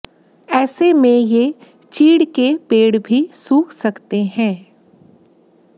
ऐसे में ये चीड़ के पेड़ भी सूख सकते हैं